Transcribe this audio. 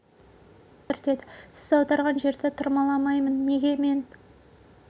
мен аударайын сен тырмала қазір кішкене дем алайық отыр деді сіз аударған жерді тырмаламаймын неге мен